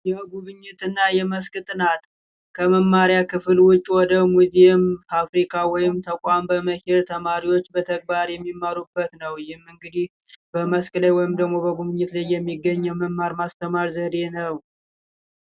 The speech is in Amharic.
የጉብኝትና የመስክ ጥናት ከመማርያ ትምህርት ቤቶች ውጭ ወደ ውጭ በመሄድ ፋብሪካዎች በመሄድ በተግባር የሚመሩበት ነው ይህ እንግዲህ በመስቀል ላይ በጉምሩክ ላይ የሚገኘው የማር ማስተማር ዘዴ ነው።